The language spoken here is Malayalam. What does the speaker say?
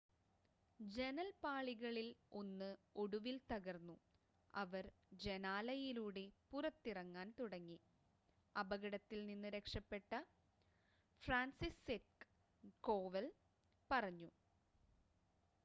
"ജനൽപ്പാളികളിൽ ഒന്ന് ഒടുവിൽ തകർന്നു അവർ ജനാലയിലൂടെ പുറത്തിറങ്ങാൻ തുടങ്ങി," അപകടത്തിൽ നിന്ന് രക്ഷപ്പെട്ട ഫ്രാൻസിസ്സെക് കോവൽ പറഞ്ഞു.